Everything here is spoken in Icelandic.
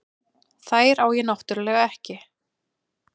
Þær á ég náttúrlega ekki.